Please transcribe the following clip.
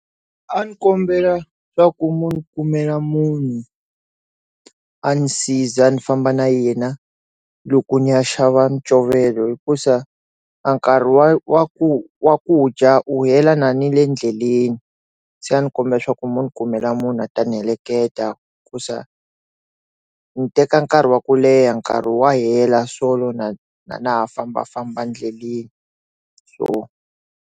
A ndzi kombela swa ku munhu kumela munhu a ndzi siza ni famba na yena loko ndzi ya xava ncovelo hikusa a nkarhi wa wa ku wa kudya u hela na nile endleleni se a ndzi kombela swa ku mi ndzi kumela munhu a ta ni heleketa ku swa ndzi teka nkarhi wa ku leha nkarhi wa hela swikolo na na na famba famba endleleni so.